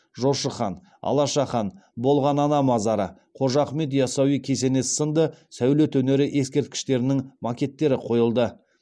жошы хан алаша хан болған ана мазары қожа ахмет ясауи кесенесі сынды сәулет өнері ескерткіштерінің макеттері қойылды